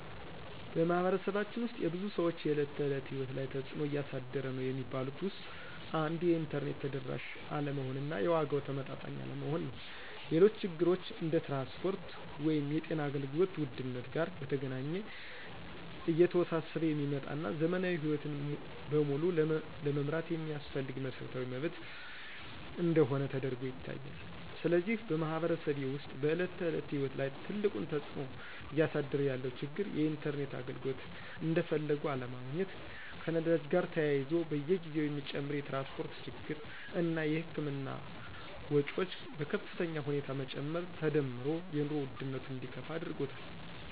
በማኅበረሰባችን ውስጥ የብዙ ሰዎች የዕለት ተዕለት ሕይወት ላይ ትጽእኖ እያሳደረ ነዉ የሚባሉት ውስጥ አንዱ የኢንተርኔት ተደራሽ አለመሆን እና የዋጋው ተመጣጣኝ አለመሆን ነው። ሌሎች ችግሮች እንደ ትራንስፖርት ወይም የጤና አገልግሎት ውድነት ጋር በተገናኘ እየተወሳሰበ የሚመጣ እና ዘመናዊ ሕይወትን በሙሉ ለመምራት የሚያስፈልግ መሰረታዊ መብት እንደሆነ ተደርጎ ይታያል። ስለዚህ በማኅበረሰቤ ውስጥ በዕለት ተዕለት ሕይወት ላይ ትልቁን ተጽዕኖ እያሳደረ ያለው ችግር የኢንተርኔት አገልግሎት እንደፈለጉ አለመገኘት፣ ከነዳጅ ጋር ተያይዞ በየጊዜው የሚጨምር የትራንስፖርት ችግር እና የህክምና ወጮች በከፍተኛ ሁኔታ መጨመር ተዳምሮ የኑሮ ውድነቱ እንዲከፋ አድርጎታል።